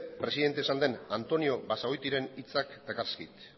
presidente izan den antonio basagoitiren hitzak dakarzkit